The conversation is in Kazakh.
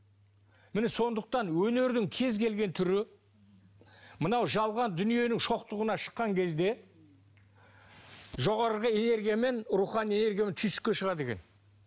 міне сондықтан өнердің кез келген түрі мынау жалған дүниенің шоқтығына шыққан кезде жоғарғы энергия мен рухани энергия түйсікке шығады екен